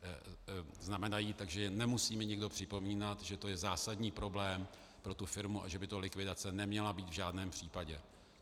Takže nemusí mi nikdo připomínat, že to je zásadní problém pro tu firmu a že by to likvidace neměla být v žádném případě.